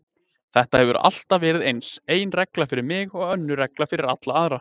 Þetta hefur alltaf verið eins, ein regla fyrir mig og önnur regla fyrir alla aðra.